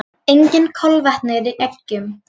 Engin kolvetni eru í eggjum.